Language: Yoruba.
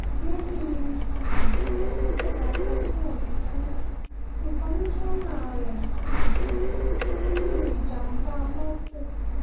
lẹ́yìn um ọ̀sẹ̀ mẹ́ta tí ajimobi kú ni kọ́míkànnà rẹ̀ um kú sínú ìjàm̀bá mọ́tò